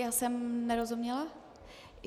Já jsem nerozuměla.